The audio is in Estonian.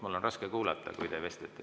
Mul on raske kuulata, kui te seal vestlete.